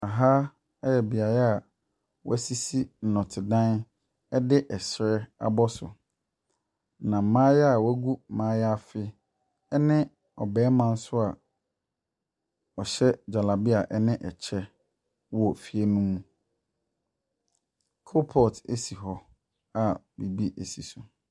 Ha yɛ beaeɛ a wɔasisi nnɔtedan de srɛ abɔ so. Na mmayewa a wɔagu maliafe ne ɔbarima nso a ɔhyɛ gyalabia ne kyɛ wɔ fie ne mu. Koropɔɔto si hɔ a biribi si so.